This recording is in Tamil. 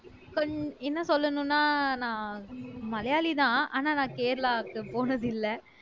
பண் என்ன சொல்லணும்னா நான் மலையாளிதான் ஆனா நான் கேரளாக்கு போனது இல்லை